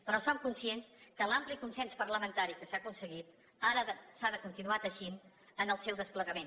però som conscients que l’ampli consens parlamentari que s’ha aconseguit ara s’ha de continuar teixint en el seu desplegament